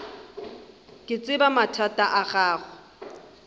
ke tseba mathata a gago